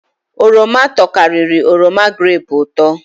Oroma tokariri oroma grepu uto